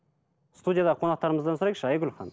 студияда қонақтарымыздан сұрайықшы айгүл ханым